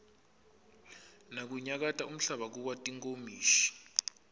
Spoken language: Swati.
nakunyakata umhlaba kuwa tinkomishi